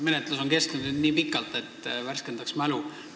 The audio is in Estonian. Menetlus on kestnud nii pikalt, et äkki värskendaks mälu.